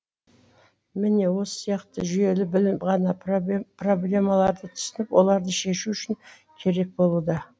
міне осы сияқты жүйелі білім ғана проблемаларды түсініп оларды шешу үшін керек болуда